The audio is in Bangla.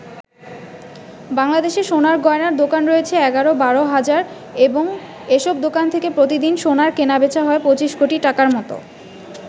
বাংলাদেশে সোনার গয়নার দোকান রয়েছে ১১-১২ হাজার এবং এসব দোকান থেকে প্রতিদিন সোনার কেনাবেচা হয় প্রায় ২৫ কোটি টাকার মত।